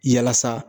Yalasa